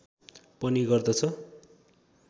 पनि गर्दछ